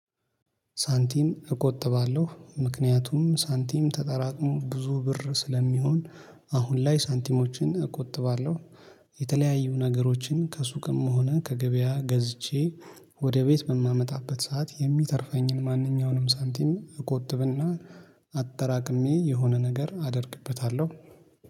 ሳንቲም እቆጥባለሁ ምክንያቱም ሳንቲም ተጠራቅሞ ብዙ ብር ስለሚሆን አሁን ላይ ሳንቲሞችን እቆጥባለሁ። የተለያዩ ነገሮችን ከሱቅም ሆነ ከገበያ ገዝቼ ወደ ቤት በማመጣበት ሰዓት የሚተርፈኝን ማንኛውንም ሳንቲም እቆጥብና አጠራቅሜ የሆነ ነገር አደርግበታለሁ